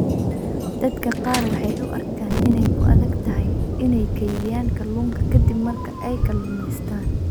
Dadka qaar waxay u arkaan inay ku adag tahay inay kaydiyaan kalluunka ka dib marka ay kalluumaystaan.